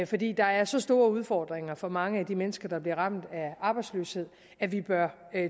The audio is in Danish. fordi der er så store udfordringer for mange af de mennesker der bliver ramt af arbejdsløshed at vi bør